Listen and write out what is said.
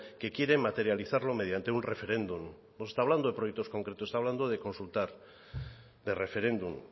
que quieren materializarlo mediante un referéndum no está hablando de proyectos concretos está hablando de consultar de referéndum